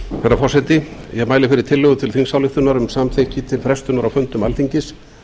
herra forseti ég mæli fyrir tillögu til þingsályktunar um samþykki til frestunar á fundum alþingis